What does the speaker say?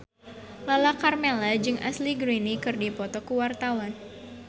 Lala Karmela jeung Ashley Greene keur dipoto ku wartawan